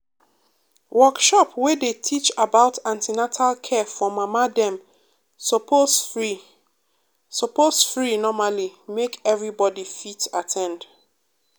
workshop wey dey teach about an ten atal care for mama dem suppose free suppose free normally make everybody fit at ten d.